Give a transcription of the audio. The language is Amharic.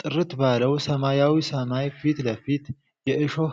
ጥርት ባለው ሰማያዊ ሰማይ ፊት ለፊት፣ የእሾህ